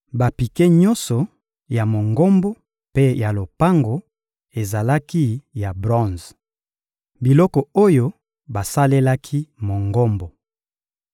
Bapike nyonso ya Mongombo mpe ya lopango ezalaki ya bronze. Biloko oyo basalelaki Mongombo